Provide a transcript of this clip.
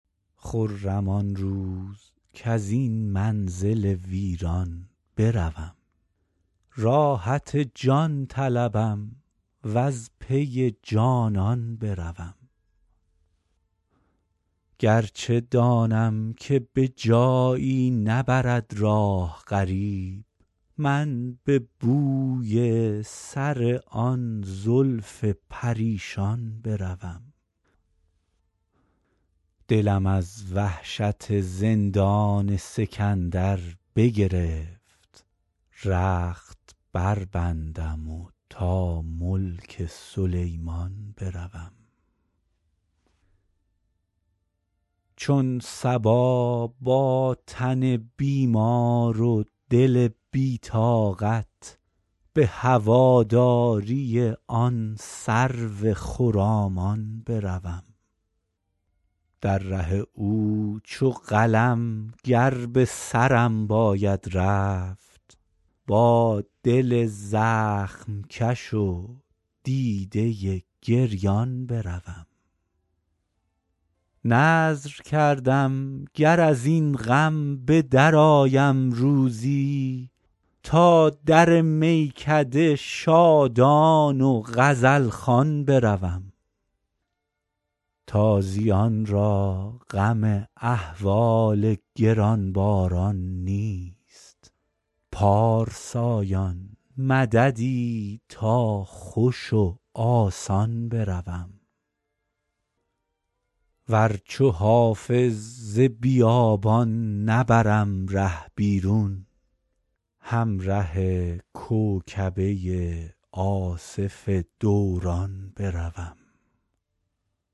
خرم آن روز کز این منزل ویران بروم راحت جان طلبم و از پی جانان بروم گر چه دانم که به جایی نبرد راه غریب من به بوی سر آن زلف پریشان بروم دلم از وحشت زندان سکندر بگرفت رخت بربندم و تا ملک سلیمان بروم چون صبا با تن بیمار و دل بی طاقت به هواداری آن سرو خرامان بروم در ره او چو قلم گر به سرم باید رفت با دل زخم کش و دیده گریان بروم نذر کردم گر از این غم به درآیم روزی تا در میکده شادان و غزل خوان بروم به هواداری او ذره صفت رقص کنان تا لب چشمه خورشید درخشان بروم تازیان را غم احوال گران باران نیست پارسایان مددی تا خوش و آسان بروم ور چو حافظ ز بیابان نبرم ره بیرون همره کوکبه آصف دوران بروم